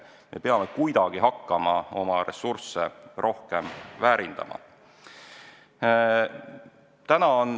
Me peame kuidagi hakkama oma ressursse rohkem väärindama.